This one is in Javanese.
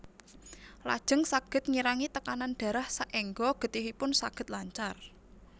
Lajeng saged ngirangi tekanan darah saéngga getihipun saged lancar